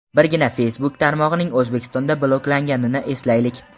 Birgina Facebook tarmog‘ining O‘zbekistonda bloklanganini eslaylik.